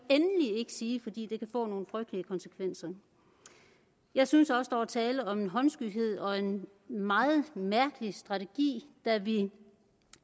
sige fordi det kan få nogle frygtelige konsekvenser jeg synes også der var tale om en håndskyhed og en meget mærkelig strategi da vi